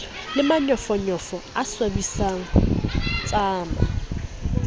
le manyofonyofo a swabisang tsama